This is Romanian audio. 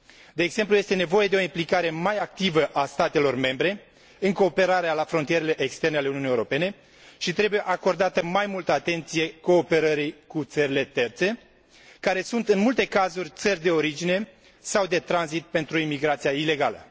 De exemplu, este nevoie de o implicare mai activă a statelor membre în cooperarea la frontierele externe ale Uniunii Europene și trebuie acordată mai multă atenție cooperării cu țările terțe care sunt, în multe cazuri, țări de origine sau de tranzit pentru imigrația ilegală.